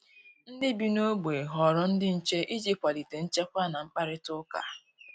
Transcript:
Ndị bi nogbe họrọ ndị nche iji kwalite nchekwa na mkparitauka